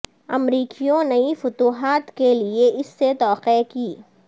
امریکیوں نئی فتوحات کے لئے اس سے توقع کی